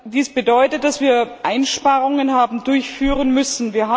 Dies bedeutet, dass wir Einsparungen haben durchführen müssen.